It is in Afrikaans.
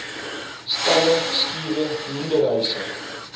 stalle skure hoenderhuise